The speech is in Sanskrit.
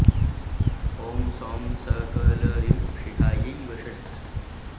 ॐ सौं स क ल ह्रीं शिखायै वषट्